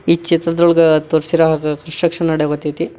ಈ ಚಿತ್ರದಲ್ಲಿ ತೋರ್ಸಿರೋ ಹಾಗ ಕನ್ಸ್ಟ್ರಕ್ಷನ್ ನಡೆಯಕತೈತಿ.